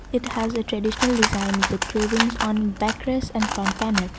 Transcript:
it has a traditional design with cravings on backless and funpanan.